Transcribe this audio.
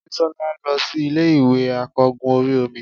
bisola losí Ilé ìwè akogún orí omí